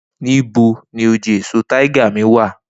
Nibo ni oje eso tiger mi wa?